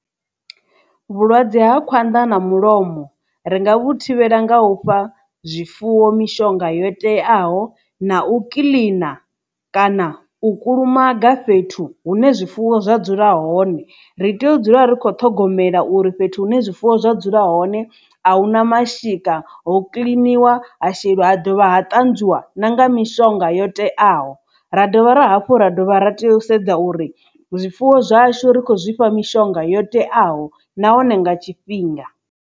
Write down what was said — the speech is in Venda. Vhulwadze ha khwanḓa na mulomo ri nga vhu thivhela nga u fha zwifuwo mishonga yo teaho na u kiḽina kana u kulumaga fhethu hune zwifuwo zwa dzula hone ri tea u dzula ri kho ṱhogomela uri fhethu hune zwifuwo zwa dzula hone ahuna mashika ho kiḽiniwa ha sheliwa ha dovha ha ṱanzwiwa na nga mishonga yo teaho ra dovha ra hafhu ra dovha ra tea u sedza uri zwifuwo zwashu ri khou zwifha mishonga yo teaho nahone nga tshifhinga.